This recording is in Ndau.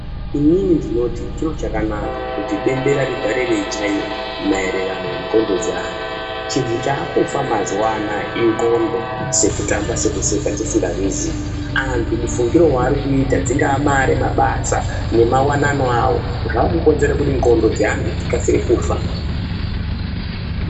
Inini ndinoti chiro chakanaka kutibembera rigare reichaiwa mairirano nenclondo dzeanhu chinhu chakufa mazuwaanaya inclondo sekutamba sekuseka tisinga zviziyi antu mufungiro warikuita dzinga mare mabasa nemawanano awo zvakukonzere kuti nclondo dzeantu dzikasire kufa.